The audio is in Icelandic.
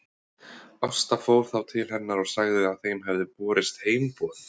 Ásta fór þá til hennar og sagði að þeim hefði borist heimboð.